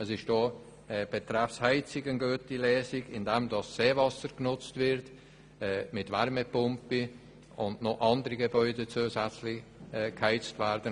Es ist auch betreffend der Heizung eine gute Lösung gefunden worden, indem Seewasser mittels Wärmepumpen genutzt wird und noch andere Gebäude zusätzlich geheizt werden.